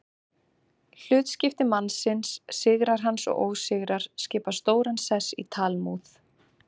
Hlutskipti mannsins, sigrar hans og ósigrar, skipa stóran sess í Talmúð.